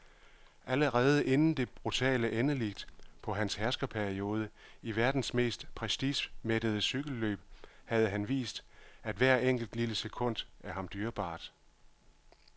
Allerede inden det brutale endeligt på hans herskerperiode i verdens mest prestigemættede cykelløb havde han vist, at hvert enkelt, lille sekund er ham dyrebart.